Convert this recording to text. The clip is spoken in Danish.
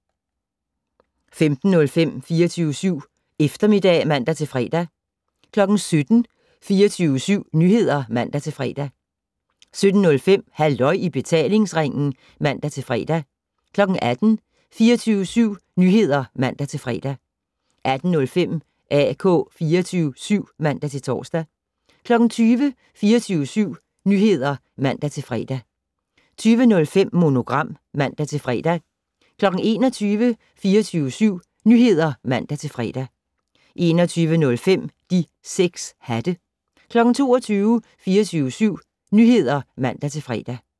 15:05: 24syv Eftermiddag (man-fre) 17:00: 24syv Nyheder (man-fre) 17:05: Halløj i betalingsringen (man-fre) 18:00: 24syv Nyheder (man-fre) 18:05: AK 24syv (man-tor) 20:00: 24syv Nyheder (man-fre) 20:05: Monogram (man-fre) 21:00: 24syv Nyheder (man-fre) 21:05: De 6 hatte 22:00: 24syv Nyheder (man-fre)